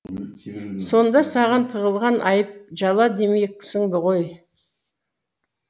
сонда саған тағылған айып жала демексің ғой